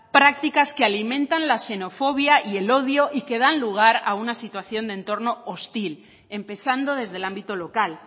prácticas que alimentan la xenofobia y el odio y que dan lugar a una situación de entorno hostil empezando desde el ámbito local